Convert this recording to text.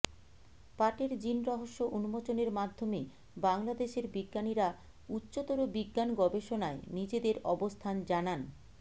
পাটের জিন রহস্য উন্মোচনের মাধ্যমে বাংলাদেশের বিজ্ঞানীরা উচ্চতর বিজ্ঞান গবেষণায় নিজেদের অবস্থান জানান